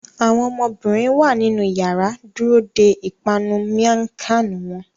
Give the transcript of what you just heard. Awọn ọmọbirin wa ninu yàrá dúró dè ipanu miang Khan wón